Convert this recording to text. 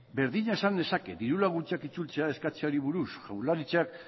berdina esan dezaket diru laguntzak itzultzea eskatzeari buruz jaurlaritzak